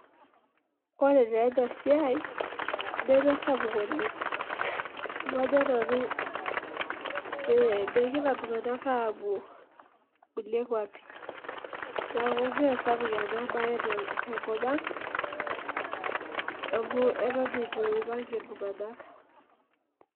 Ore taa ena siai nemesapuk oleng' amu ajo nanu megira iltung'anak aapuo kulie kuapi neeku mee sapuk ena baye tenkop ang' amu eton itu iipang' iltung'anak.